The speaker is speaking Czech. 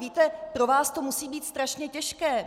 Víte, pro vás to musí být strašně těžké.